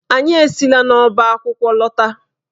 Anyị esila n'ọba akwụkwọ lọta.